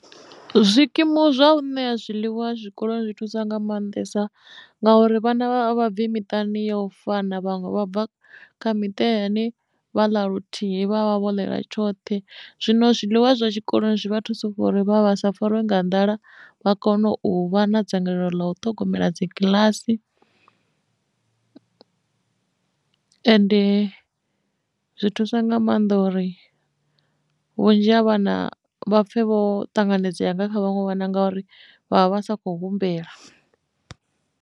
Zwikimu zwa u ṋea zwiḽiwa zwikoloni zwi thusa nga maanḓesa ngauri vhana a vha bvi miṱani ya u fana vhaṅwe vha bva kha miṱa ine vha ḽa luthihi vha vha vho ḽela tshoṱhe zwino zwiḽiwa zwa tshikoloni zwi vha thusa kha uri vha vha sa fariwe nga nḓala u vha kone u vha na dzangalelo ḽa u ṱhogomela dzi kiḽasi ende zwi thusa nga maanḓa uri vhunzhi ha vhana vha pfhe vho ṱanganedziwa yanga kha vhaṅwe vha na ngauri vha vha vha sa khou humbela.